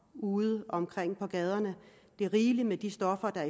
udeomkring på gaderne det er rigeligt med de stoffer der